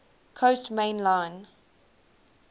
coast main line